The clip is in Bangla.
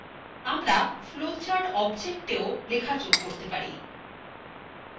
আমরা flowchart objectswe লেখা যোগ করতে পারি